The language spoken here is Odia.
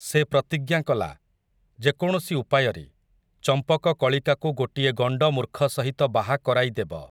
ସେ ପ୍ରତିଜ୍ଞା କଲା, ଯେକୌଣସି ଉପାୟରେ, ଚମ୍ପକକଳିକାକୁ ଗୋଟିଏ ଗଣ୍ଡମୁର୍ଖ ସହିତ ବାହାକରାଇଦେବ ।